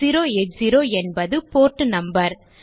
8080 என்பது port number